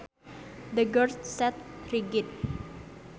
The girl sat rigid